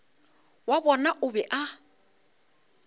wa bona o be a